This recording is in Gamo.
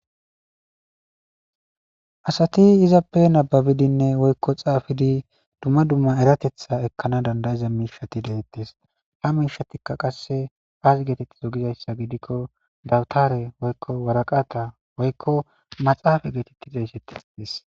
Asati izappe nababidinne woykko xaafidi dumma dumma eratetha ekkana dandayiza miishati deettes ha miishatikka qasse aasi geetetti zogizayssa gidikko dawutare woykko waraqata woykko maxaafa geetetti de isettes des.